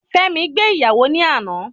Fẹ́mi gbé ìyàwó ní àná